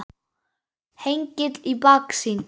Hengill í baksýn.